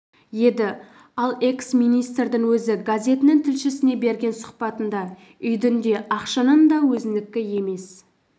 еді ал экс-министрдің өзі газетінің тілшісіне берген сұхбатында үйдің де ақшаның да өзінікі емес